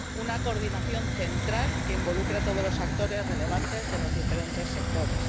una coordinación central que involucre a todos los actores relevantes de los diferentes sectores